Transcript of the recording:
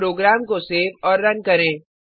अब प्रोग्राम को सेव और रन करें